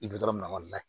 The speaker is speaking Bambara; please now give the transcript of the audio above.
I bi dɔrɔn layɛ